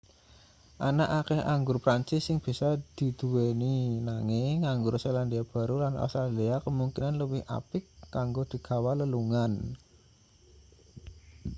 ana akeh anggur prancis sing bisa diduweni nanging anggur selandia baru lan australia kemungkinan luwih apik kanggo digawa lelungan